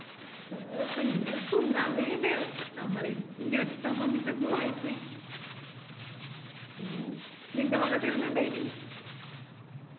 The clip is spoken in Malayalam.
ഓ പിന്നെ തിന്നകൈയ്യണ്ടേ ഞമ്മള് ഞെട്ടാൻ വന്നിറ്റ് എന്തോ ആയിപ്പോയി മ് നിൻറെ മംഗലത്തിന് എന്നാ ഇണ്ടായിന്